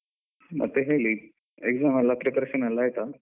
ಮತ್ತೆ ಹೇಳಿ exam ಎಲ್ಲ preparation ಎಲ್ಲ ಆಯ್ತಾ?